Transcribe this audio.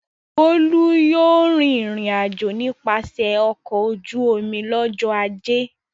Bólú yóò rìnrìn-àjò nípasẹ̀ ọkọ̀ ojú-omi lọ́jọ́ ajé.